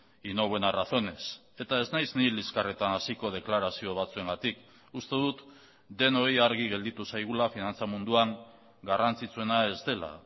y no buenas razones eta ez naiz ni liskarretan hasiko deklarazio batzuengatik uste dut denoi argi gelditu zaigula finantza munduan garrantzitsuena ez dela